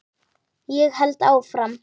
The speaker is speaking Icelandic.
Ég held áfram